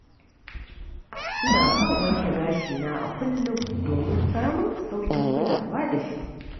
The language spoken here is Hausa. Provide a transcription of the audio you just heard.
Ina son wanke gashina a kullum domin samun sauƙin kulawa da shi.